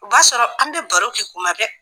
O b'a sɔrɔ an bɛ baro kɛ kuma bɛ.